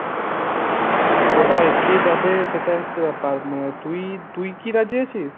ওটাই, কে যাবে সেটাই হচ্ছে ব্যাপার। মানে তুই তুই কি রাজী আছিস।